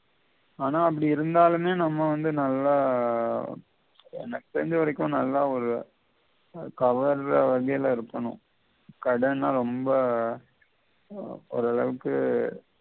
ஆனா அப்படியிருந்தாலுமே நம்ம வந்து நல்ல எனக்கு தெரிஞ்ச வரைக்கும் நல்லா ஒரு கவர்ற வகைல இருக்கணும் ரொம்ப ஓரளவுக்கு